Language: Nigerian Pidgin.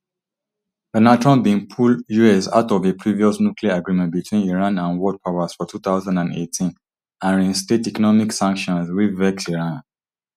donald trump bin pull us out of a previous nuclear agreement between iran and world powers for two thousand and eighteen and reinstate economic sanctions wey vex iran